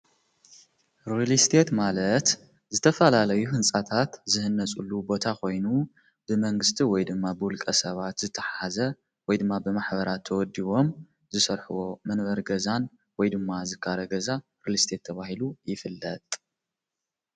ሪልስቴት ማለት ዝተፋላለዩ ሕንፃታት ዝሕነጹሉ ቦታ ኾይኑ ብመንግሥቲ ወይ ድማ ብውልቀ ሰባት ዝተሓዘ ወይ ድማ ብማኅበራት ተወዲዎም ዝሰርሕ መንበር ገዛን ወይ ድማ ዝካረ ገዛ ሪልስቴትተብሂሉ ይፍለጥ።